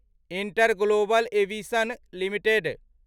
InterGlobal Aviation limited